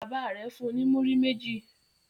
Bàbá rẹ̀ fun ní múrí méjì.